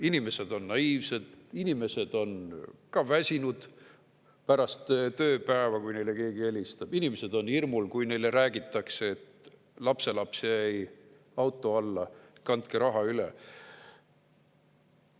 Inimesed on naiivsed, inimesed on väsinud pärast tööpäeva, kui neile keegi helistab, inimesed on hirmul, kui neile räägitakse, et lapselaps jäi auto alla, kandke raha üle.